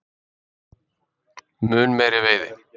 Mun meiri veiði